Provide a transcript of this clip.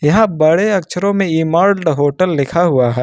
यहां बड़े अक्षरों में एमरल्ड होटल लिखा हुआ है।